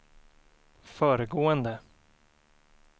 föregående